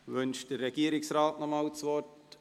Wünscht der Regierungsrat noch einmal das Wort?